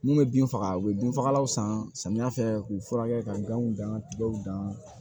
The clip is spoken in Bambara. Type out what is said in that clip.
Mun bɛ bin faga u bɛ binfagalanw san samiya fɛ k'u furakɛ ka ganw gɛn ka tigɛw dan